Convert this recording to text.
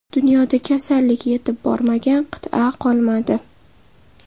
Dunyoda kasallik yetib bormagan qit’a qolmadi.